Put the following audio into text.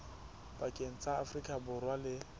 pakeng tsa afrika borwa le